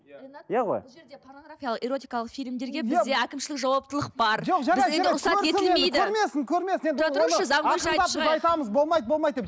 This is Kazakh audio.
эротикалық фильмдерге бізде әкімшілік жауаптылық бар